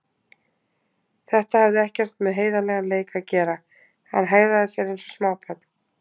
Þetta hafði ekkert með heiðarlegan leik að gera, hann hegðaði sér eins og smábarn.